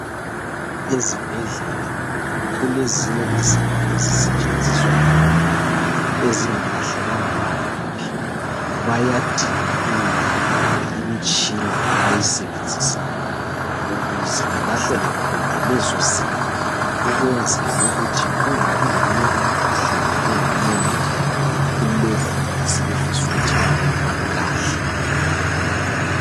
Ezibhedlela kulezinye izinto ezisetshenziswa khona, ezingalahlelwa noma ngaphi. Bayadinga indawo kumbe imitshina abayisebenzisayo, ukuze balahlele khona lezozinto ukwenzela ukuthi kungabi leminye imikhuhlane engamemetheka kulokho asebefisa ukuthi bakulahle.